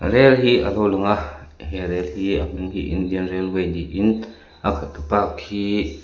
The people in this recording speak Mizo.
rel hi a lo lang a he rel hi a hming hi indian railway niin a khi--